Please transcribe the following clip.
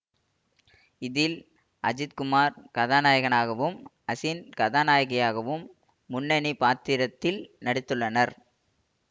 இதில் அஜித்குமார் கதாநாயகனாகவும் அசின் கதாநாயகியாகவும் முன்னணி பாத்திரத்தில் நடித்துள்ளனர்